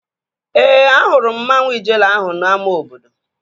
Ee, ahụrụ m mmanwu Ijele ahụ n'ámá obodo